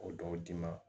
O dɔw d'i ma